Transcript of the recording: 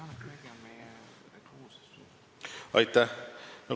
Aitäh!